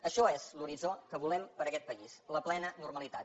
això és l’horitzó que volem per a aquest país la plena normalitat